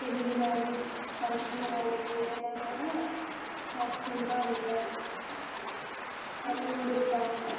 పెళ్లిళ్లు గాని ఫంక్షన్ లు గాని ఏదైనా కూడా చేసుకుంటూ ఉంటారు డబ్బులు కూడా ఇస్తా ఉంటారు.